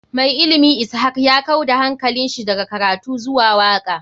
Mai ilimi ishak ya kau da hankalinshi daga karatu zuwa waka.